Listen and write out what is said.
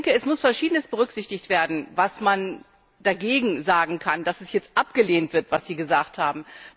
Es muss Verschiedenes berücksichtigt werden, was man dagegen sagen kann, dass es jetzt abgelehnt wird, was Sie gesagt haben.